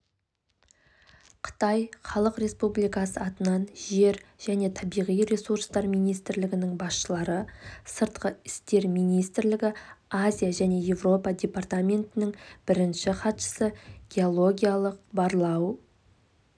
қытай халық республикасы атынан жер және табиғи ресурстар министрлігінің басшылары сыртқы істер министрлігі азия және еуропа департаментінің бірінші хатшысы геологиялық барлау